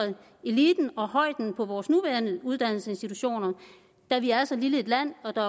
eliten og højden i vores nuværende uddannelsesinstitutioner da vi er så lille et land og der